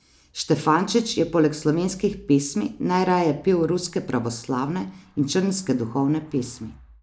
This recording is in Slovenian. Štefančič je poleg slovenskih pesmi najraje pel ruske pravoslavne in črnske duhovne pesmi.